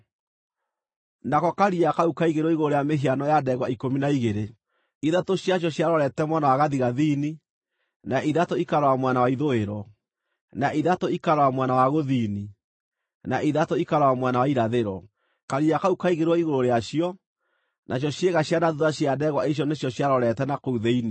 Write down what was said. Nako Karia kau kaigĩrĩirwo igũrũ rĩa mĩhiano ya ndegwa ikũmi na igĩrĩ; ithatũ ciacio ciarorete mwena wa gathigathini, na ithatũ ikarora mwena wa ithũĩro, na ithatũ ikarora mwena wa gũthini, na ithatũ ikarora mwena wa irathĩro. Karia kau kaigĩrĩirwo igũrũ rĩacio, nacio ciĩga cia na thuutha cia ndegwa icio nĩcio ciarorete na kũu thĩinĩ.